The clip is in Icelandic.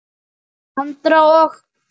Andra og